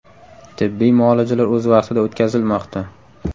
Tibbiy muolajalar o‘z vaqtida o‘tkazilmoqda”.